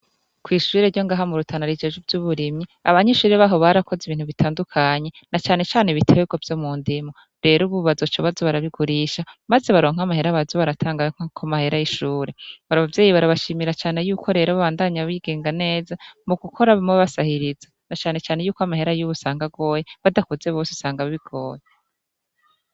Kw'ishure ryo ngaha mu Rutana rijejwe ivy'uburimyi abanyeshure baho barakoze ibintu bitandukanye na canecane ibiterwa vyo mu ndimo, rero ubu bazoca baza barabigurisha maze baronke amahera baza baratanga nko ku mahera y'ishure, abavyeyi barabashimira cane yuko rero babandanya bigenga neza mu gukoramwo basahiriza na canecane yuko amahera y'ubu usanga agoye badakoze bose usanga bigoye.